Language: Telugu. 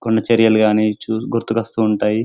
కొండ చర్యలు గాని చు గుర్తుకొస్తూ ఉంటాయి.